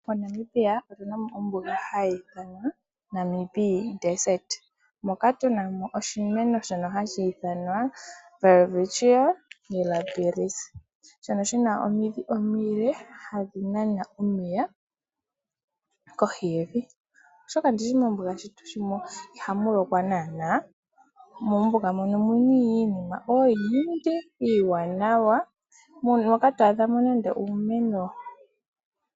Monamibia otunamo ombuga hayi ithanwa Namib moka tunamo oshimeno shono hashi ithanwa Welwistchia mirabilis ,shono shina omidhi omile hadhi nana omeya kohi yevi oshoka mombuga ihamu lokwa naana. Mombuga omuna iinima oyindji iiwanawa moka to adhamo nande uumeno